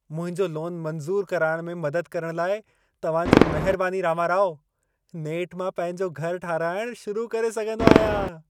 मुंहिंजो लोन मंज़ूर कराइण में मदद करण लाइ तव्हां जी महिरबानी रामाराओ। नेठ मां पंहिंजो घर ठाराहिण शुरु करे सघंदो आहियां।